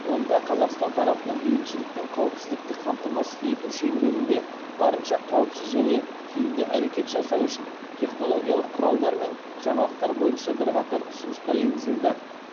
онда қазақстан тарапынан бейбітшілік пен қауіпсіздікті қамтамасыз ету шеңберінде барынша қауіпсіз және тиімді әрекет жасау үшін технологиялық құралдар мен жаңалықтар бойынша бірқатар ұсыныстар енгізілді